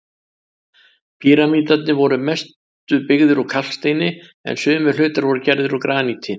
Píramídarnir voru að mestu byggðir úr kalksteini, en sumir hlutar voru gerðir úr graníti.